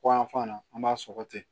Kɔyan fan na an b'a sɔgɔ ten